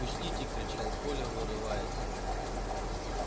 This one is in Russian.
пустите кричал коля вырываясь